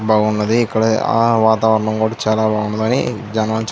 బాగున్నది ఇక్కడ ఆ వాతావరణం కూడా చాలా బాగున్నది. గాని దాని వల్ల చు --